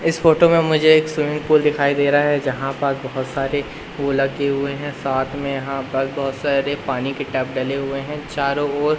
इस फोटो मे मुझे एक स्विमिंग पूल दिखाई दे रहा है जहां पर बहोत सारे पूल रखे हुए है साथ मे यहां पर बहुत सारे पानी के टब डले हुए है चारों ओर --